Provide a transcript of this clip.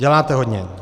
Děláte hodně.